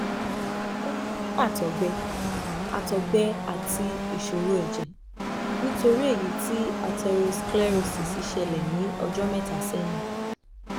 ó ní àtọ̀gbẹ àtọ̀gbẹ àti ìṣòro ẹ̀jẹ̀ nítorí èyí tí atherosclerosis ṣẹlẹ̀ ní ọjọ́ mẹ́ta sẹ́yìn